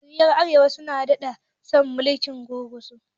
koriya ta arewa sun daɗe suna mulkin gurguzu